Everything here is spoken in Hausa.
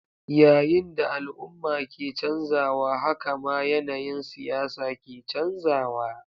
Yayin da al'umma ke canzawa, haka ma yanayin siyasa ke canzawa.